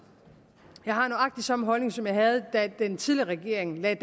jeg har nøjagtig samme holdning som jeg havde da den tidligere regering lagde